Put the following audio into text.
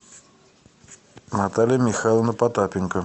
наталья михайловна потапенко